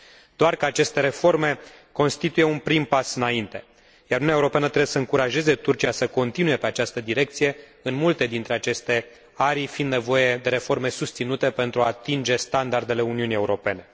Doar că aceste reforme constituie un prim pas înainte, iar Uniunea Europeană trebuie să încurajeze Turcia să continue pe această direcție, în multe dintre aceste arii fiind nevoie de reforme susținute, pentru a atinge standardele Uniunii Europene.